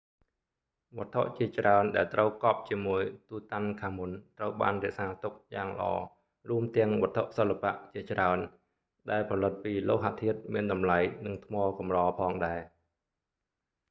វត្ថុជាច្រើនដែលត្រូវកប់ជាមួយ tutankhamun ត្រូវបានរក្សាទុកយ៉ាងល្អរួមទាំងវត្ថុសិល្បៈជាច្រើនដែលផលិតពីលោហធាតុមានតម្លៃ និងថ្មកម្រផងដែរ